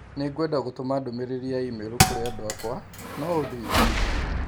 Nĩngwenda gũtũma ndũmĩrĩri ya i-mīrū kũrĩ andũ akwa. No ũndeithie?